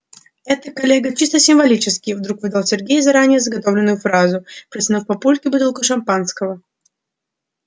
это коллега чисто символически вдруг выдал сергей заранее заготовленную фразу протянув папульке бутылку шампанского